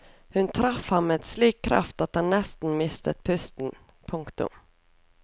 Hun traff ham med slik kraft at han nesten mistet pusten. punktum